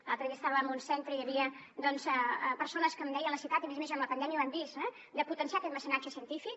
l’altre dia estava en un centre i hi havia persones que em deien la necessitat i a més a més amb la pandèmia ho hem vist de potenciar aquest mecenatge científic